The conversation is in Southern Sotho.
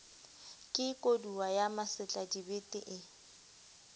ke kodua ya masetladibete ee